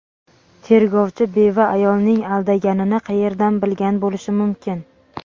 tergovchi beva ayolning aldaganini qayerdan bilgan bo‘lishi mumkin?.